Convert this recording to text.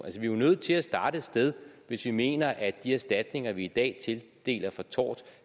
vi er nødt til at starte et sted hvis vi mener at de erstatninger vi i dag tildeler for tort